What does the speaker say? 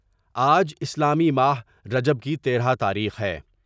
آج اسلامی ماہ رجب کی تیرہ تاریخ ہے ۔